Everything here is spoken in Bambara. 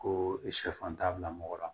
Ko sɛfan t'a bila mɔgɔ la